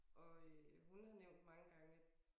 Og øh hun har nævnt mange gange at